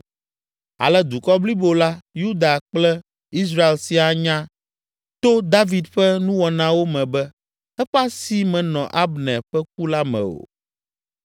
Ale dukɔ blibo la, Yuda kple Israel siaa nya to David ƒe nuwɔnawo me be eƒe asi menɔ Abner ƒe ku la me o.